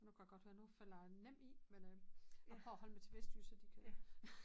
Nu kan jeg godt høre nu falder jeg nem i men øh jeg prøver at holde mig til vestjysk så de kan